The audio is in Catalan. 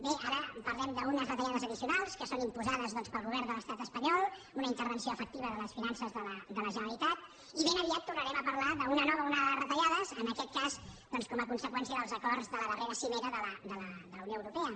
bé ara parlem d’unes retallades addicionals que són imposades doncs pel govern de l’estat espanyol una intervenció efectiva de les finances de la generalitat i ben aviat tornarem a parlar d’una nova onada de retallades en aquest cas doncs com a conseqüència dels acords de la darrera cimera de la unió europea